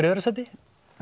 í öðru sæti